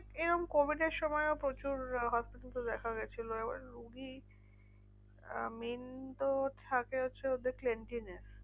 এরম covid এর সময়ও প্রচুর আহ দেখা গেছিলো। এবার রুগী আহ main তো থাকে হচ্ছে ওদের cleanliness